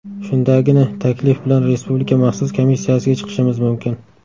Shundagina taklif bilan Respublika maxsus komissiyasiga chiqishimiz mumkin”.